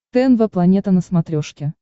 тнв планета на смотрешке